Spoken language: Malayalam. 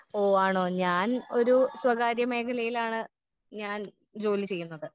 ഓ ആണോ ഞാൻ ഒരു സ്വകാര്യ മേഖലയിലാണ് ഞാൻ ജോലി ചെയ്യുന്നത്.